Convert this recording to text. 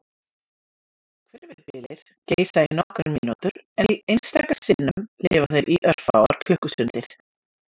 Hvirfilbyljir geisa í nokkrar mínútur en einstaka sinnum lifa þeir í örfáar klukkustundir.